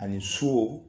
Ani so